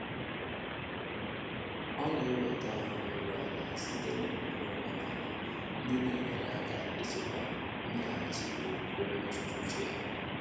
Ọ́ nà-ènwétá áhụ́ íru álá sìté nà ọ́mụ́mé ọ́ménàlà ndị́ nà-ényéré áká ị́chị́kwá mméghàchị́ ókwúkwé mmétụ́tà úchè yá.